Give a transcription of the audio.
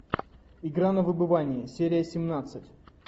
игра на выбывание серия семнадцать